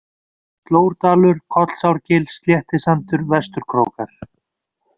Slórdalur, Kollsárgil, Sléttisandur, Vestur-Krókar